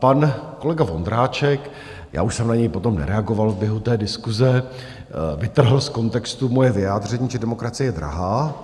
Pan kolega Vondráček, já už jsem na něj potom nereagoval v běhu té diskuse, vytrhl z kontextu moje vyjádření, že demokracie je drahá.